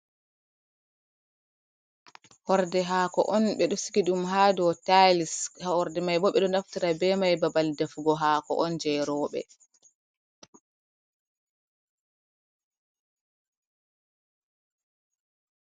Horɗe haako on ɓe ɗo sigi ɗum ha do tiyis horɗe mai bo ɓe ɗo naftara be mai babal defugo hako on je roɓe.